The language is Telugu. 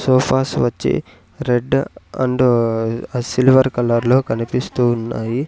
సోఫాస్ వచ్చి రెడ్ అండ్ ఆ సిల్వర్ కలర్లో కనిపిస్తూ ఉన్నాయి.